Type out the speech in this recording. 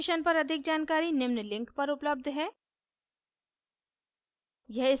इस mission पर अधिक जानकारी निम्न लिंक पर उपलब्ध है